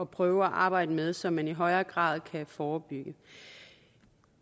prøve at arbejde med så man i højere grad kan forebygge